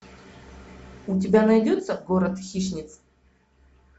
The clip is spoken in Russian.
у тебя найдется город хищниц